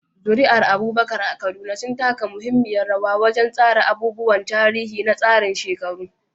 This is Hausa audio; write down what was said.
Zuri'ar Abubakar a Kaduna sun taka muhimmiyar rawa wajen tsara abubuwan tarihi na tsarin shekaru.